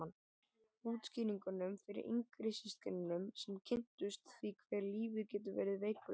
Útskýringunum fyrir yngri systkinunum sem kynntust því hve lífið getur verið veikburða.